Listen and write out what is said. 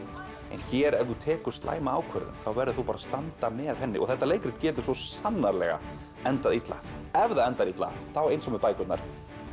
en hér ef þú tekur slæma ákvörðun þá verður þú bara að standa með henni og þetta leikrit getur svo sannarlega endað illa ef það endar illa þá eins og með bækurnar